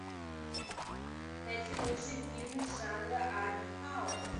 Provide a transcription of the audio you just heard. найти лучшие фильмы жанра арт хаус